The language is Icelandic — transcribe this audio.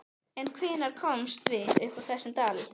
En hvenær komumst við upp úr þessum dal?